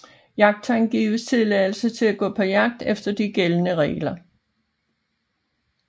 Jagttegn giver tilladelse til at gå på jagt efter de gældende regler